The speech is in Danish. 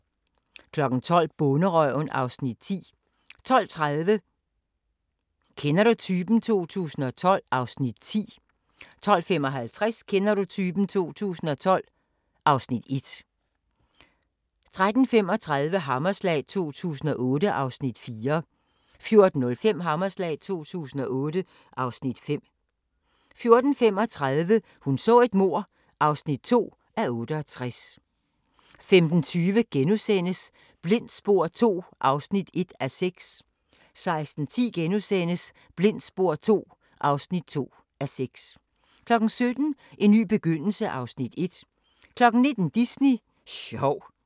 12:00: Bonderøven (Afs. 10) 12:30: Kender du typen? 2012 (Afs. 10) 12:55: Kender du typen? 2012 (Afs. 1) 13:35: Hammerslag 2008 (Afs. 4) 14:05: Hammerslag 2008 (Afs. 5) 14:35: Hun så et mord (2:268) 15:20: Blindt spor II (1:6)* 16:10: Blindt spor II (2:6)* 17:00: En ny begyndelse (Afs. 1) 19:00: Disney sjov